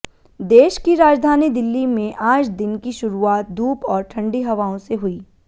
देश की राजधानी दिल्ली में आज दिन की शुरुआत धूप और ठंडी हवाओं से हुई